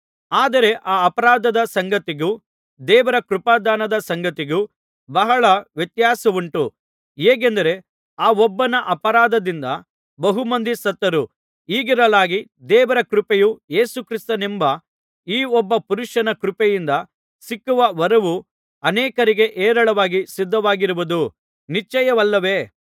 ಆದರೆ ಆ ಅಪರಾಧದ ಸಂಗತಿಗೂ ದೇವರ ಕೃಪಾದಾನದ ಸಂಗತಿಗೂ ಬಹಳ ವ್ಯತ್ಯಾಸವುಂಟು ಹೇಗೆಂದರೆ ಆ ಒಬ್ಬನ ಅಪರಾಧದಿಂದ ಬಹುಮಂದಿ ಸತ್ತರು ಹೀಗಿರಲಾಗಿ ದೇವರ ಕೃಪೆಯು ಯೇಸು ಕ್ರಿಸ್ತನೆಂಬ ಈ ಒಬ್ಬ ಪುರುಷನ ಕೃಪೆಯಿಂದ ಸಿಕ್ಕುವ ವರವೂ ಅನೇಕರಿಗೆ ಹೇರಳವಾಗಿ ಸಿದ್ಧವಾಗಿರುವುದು ನಿಶ್ಚಯವಲ್ಲವೇ